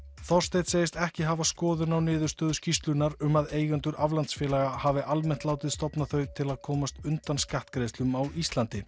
Þorsteinn segist ekki hafa skoðun á niðurstöðum skýrslunnar um að eigendur aflandsfélaga hafi almennt látið stofna þau til að komast undan skattgreiðslum á Íslandi